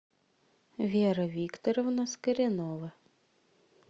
вера викторовна скоренова